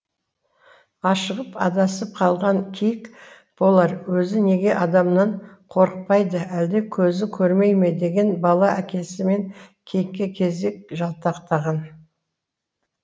ашығып адасып қалған киік болар өзі неге адамнан қорықпайды әлде көзі көрмей ме деген бала әкесі мен киікке кезек жалтақтаған